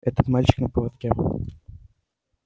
этот мальчик на поводке